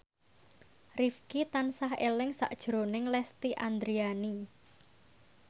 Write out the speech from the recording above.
Rifqi tansah eling sakjroning Lesti Andryani